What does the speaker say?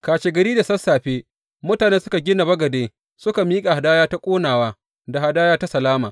Kashegari da sassafe mutane suka gina bagade suka miƙa hadaya ta ƙonawa da hadaya ta salama.